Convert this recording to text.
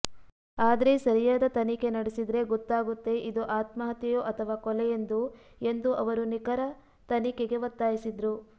ಆದ್ರೆ ಸರಿಯಾದ ತನಿಖೆ ನಡೆಸಿದ್ರೆ ಗೊತ್ತಾಗುತ್ತೆ ಇದು ಆತ್ಮಹತ್ಯೆಯೋ ಅಥವಾ ಕೊಲೆಯೆಂದು ಎಂದು ಅವರು ನಿಖರ ತನಿಖೆಗೆ ಒತ್ತಾಯಿಸಿದ್ರು